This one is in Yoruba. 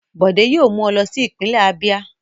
Bọ̀dé yóò mú ọ lọ sí ìpínlẹ̀ Abíà.